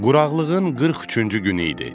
Quraqlığın 43-cü günü idi.